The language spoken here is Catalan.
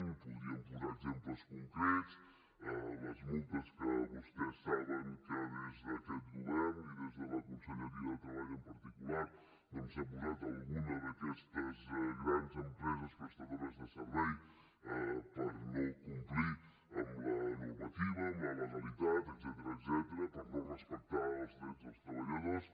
en podríem posar exemples concrets les multes que vostès saben que des d’aquest govern i des de la conselleria de treball en particular doncs s’han posat a alguna d’aquestes grans empreses prestadores de serveis per no complir amb la normativa amb la legalitat etcètera per no respectar els drets dels treballadors